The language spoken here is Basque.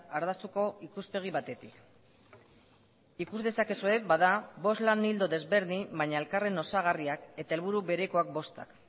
ardaztuko ikuspegi batetik ikus dezakezue bada bost lan ildo desberdin baina elkarren osagarriak eta helburu berekoak bostak